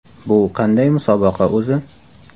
Bu qanday musobaqa o‘zi?